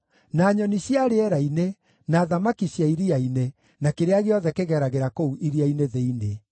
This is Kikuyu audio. na nyoni cia rĩera-inĩ, na thamaki cia iria-inĩ, na kĩrĩa gĩothe kĩgeragĩra kũu iria-inĩ thĩinĩ.